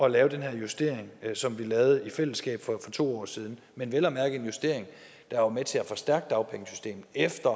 at lave den her justering som vi lavede i fællesskab for to år siden men vel at mærke en justering der var med til at forstærke dagpengesystemet efter